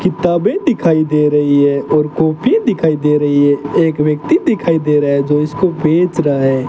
किताबें दिखाई दे रही है और कॉपी दिखाई दे रही है एक व्यक्ति दिखाई दे रहा है जो इसको बेच रहा है।